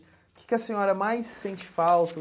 O que que a senhora mais sente falta?